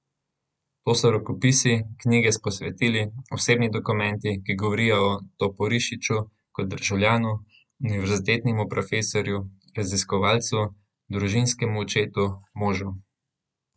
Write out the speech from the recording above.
To so rokopisi, knjige s posvetili, osebni dokumenti, ki govorijo o Toporišiču kot državljanu, univerzitetnem profesorju, raziskovalcu, družinskem očetu, možu.